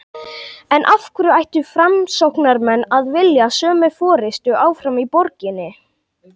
En af hverju ættu framsóknarmenn að vilja sömu forystu áfram í borginni?